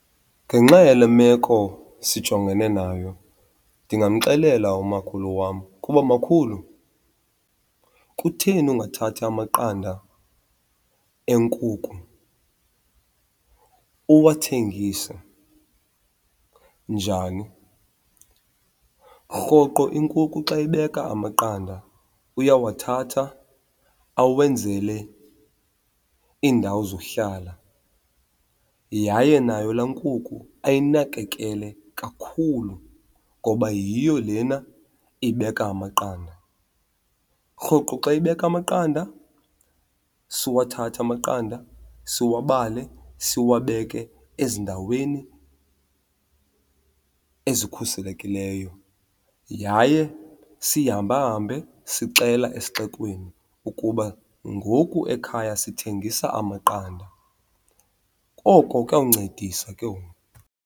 Ngenxa yale meko sijongene nayo ndingamxelela umakhulu wam ukuba makhulu, kutheni ungathathi amaqanda eenkukhu uwathegise? Njani? Rhoqo inkukhu xa ibeka amaqanda uyawathatha awenzele iindawo zohlala yaye nayo laa nkukhu ayinakekele kakhulu ngoba yiyo lena ibeka amaqanda. Rhoqo xa ibeka amaqanda, siwathathe amaqanda siwabale siwabeke ezindaweni ezikhuselekileyo yaye sihambahambe sixela esixekweni ukuba ngoku ekhaya sithengisa amaqanda. Koko kuyawuncedisa ke ngoku.